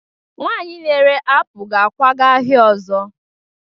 nwanyị na-ere apụl ga-akwaga ahịa ọzọ